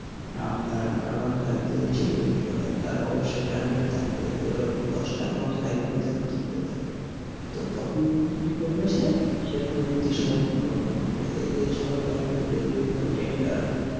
আপনার R one five যদি সে gift তার অবশ্যই target থাকবে যে ওরকম দশটা R one five আমি যেন তুলতে পারি তো তখন কি করবে সে সে দুর্নীতি স্মরণ এ গণ্য হবে এইযে সরকার যে বিভিন্ন tender